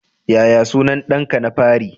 Yaya sunan danka na fari?